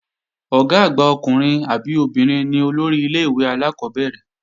Ọ̀gá àgbà ọkùnrin àbí obìnrin ni olórí ilé-ìwé alákọ́bẹ̀rẹ̀